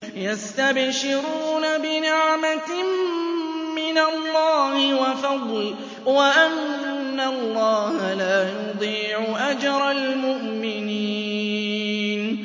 ۞ يَسْتَبْشِرُونَ بِنِعْمَةٍ مِّنَ اللَّهِ وَفَضْلٍ وَأَنَّ اللَّهَ لَا يُضِيعُ أَجْرَ الْمُؤْمِنِينَ